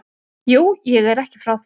Jú, ég er ekki frá því.